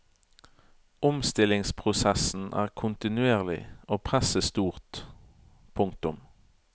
Omstillingsprosessen er kontinuerlig og presset stort. punktum